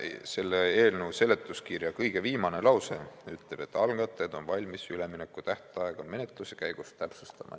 Selle eelnõu seletuskirja kõige viimane lause ütleb, et algatajad on valmis üleminekutähtaega menetluse käigus täpsustama.